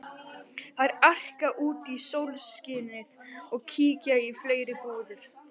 Þær arka út í sólskinið og kíkja í fleiri búðir.